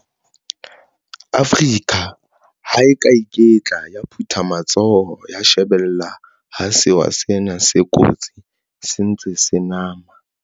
Afrika ha e ya ka ya iketla ya phutha matsoho ya shebella ha sewa sena se kotsi se ntse se nama.